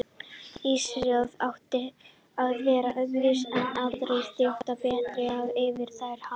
Ísraelsþjóðin átti að vera öðruvísi en aðrar þjóðir, betri og yfir þær hafin.